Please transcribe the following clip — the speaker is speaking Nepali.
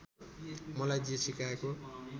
मलाई जे सिकाएको